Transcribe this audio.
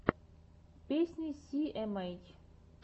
песня си эм эйч